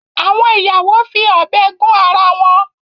Àwọn ìyàwó fi ọ̀bẹ gún ara wọn